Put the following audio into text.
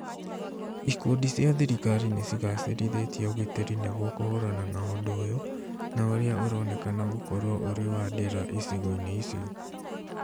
Ikundi cia thirikari nicĩgacĩrithĩtie ũgitĩri nĩguo kũhũrana na ũndũ ũyũ na ũria ũronekana gũkorwo ũrĩ wa ndĩra icigo-inĩ icio